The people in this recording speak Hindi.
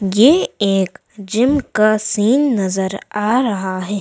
ये एक जिम का सीन नजर आ रहा है।